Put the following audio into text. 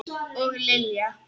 Og Lilja!